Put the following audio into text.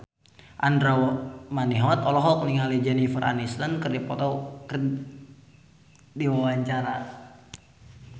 Andra Manihot olohok ningali Jennifer Aniston keur diwawancara